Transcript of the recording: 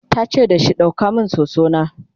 tace dashi "ɗauko min soso na!"